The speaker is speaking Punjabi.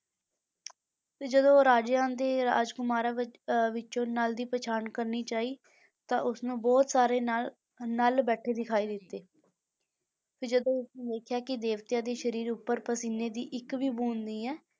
ਤੇ ਜਦੋਂ ਉਹ ਰਾਜਿਆਂ ਦੇ ਰਾਜਕੁਮਾਰਾਂ ਵਿੱਚ ਅਹ ਵਿੱਚੋਂ ਨਲ ਦੀ ਪਛਾਣ ਕਰਨੀ ਚਾਹੀ ਤਾਂ ਉਸਨੂੰ ਬਹੁਤ ਸਾਰੇ ਨਲ ਨਲ ਬੈਠੇ ਦਿਖਾਈ ਦਿੱਤੇ ਤੇ ਜਦੋਂ ਉਸਨੇ ਦੇਖਿਆ ਕਿ ਦੇਵਤਿਆਂ ਦੇ ਸਰੀਰ ਉੱਪਰ ਪਸੀਨੇ ਦੀ ਇੱਕ ਵੀ ਬੂੰਦ ਨਹੀਂ ਹੈ,